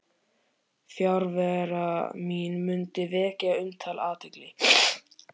Fjarvera mín mundi vekja umtal og athygli.